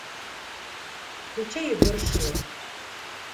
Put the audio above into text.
включай егор шилов